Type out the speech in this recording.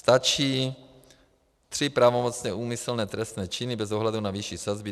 Stačí tři pravomocně úmyslné trestné činy bez ohledu na výši sazby.